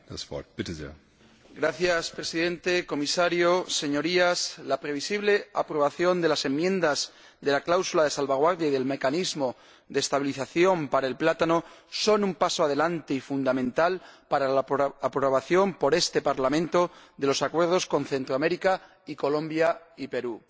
Señor Presidente, señor Comisario, Señorías, la previsible aprobación de las enmiendas de la cláusula de salvaguardia y del mecanismo de estabilización para el plátano es un paso adelante y fundamental para la aprobación, por este Parlamento, de los acuerdos con Centroamérica y Colombia y Perú.